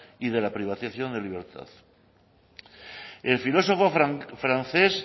y de la privación de la libertad el filosofo francés